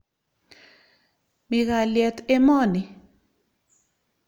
Mi kalyet emo ni.